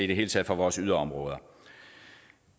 det hele taget for vores yderområder